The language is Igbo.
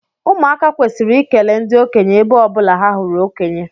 Ụmụaka kwesiri ikele ndi okenye ebe ọbụla ha hụrụ okonye